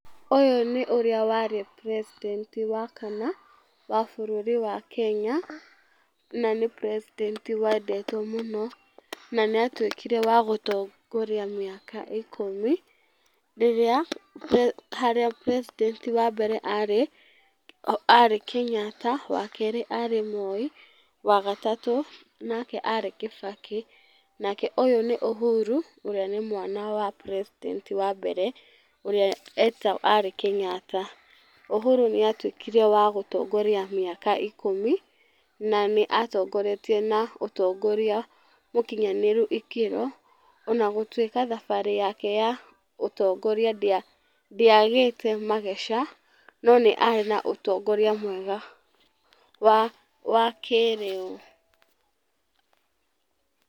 Ũyũ nĩ ũrĩa warĩ president wa kana, wa bũrũri wa Kenya, na nĩ president wendetwo mũno, na nĩatuĩkire wa gũtongoria maĩka ikũmi rĩrĩa harĩa president wa mbere arĩ, arĩ Kenyatta. Wa kerĩ arĩ Moi, wagatatũ, nake arĩ Kĩbakĩ. Nake ũyũ nĩ Uhuru ũrĩa nĩ mwana wa president wa mbere ũrĩa eta arĩ Kenyatta. Uhuru nĩatuĩkire wa gũtongoria mĩaka ikũmi na nĩatongoretie na ũtongoria mũkinyanĩru ikĩro ona gutuĩka thabarĩ yake ya ũtongoria ndĩagĩte mageca, no nĩarĩ na ũtongoria mwega wa wa kĩrĩu. Pause